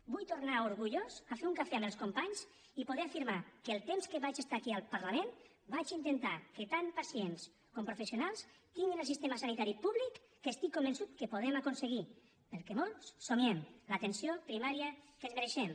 vull tornar orgullós a fer un cafè amb els companys i poder afirmar que el temps que vaig estar aquí al parlament vaig intentar que tant pacients com professionals tinguin el sistema sanitari públic que estic convençut que podem aconseguir pel que molts somiem l’atenció primària que ens mereixem